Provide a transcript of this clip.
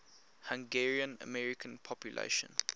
hungarian american population